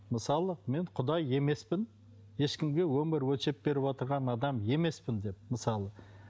мысалы мен құдай емеспін ешкімге өмір өлшеп беріп отырған адам емеспін деп мысалы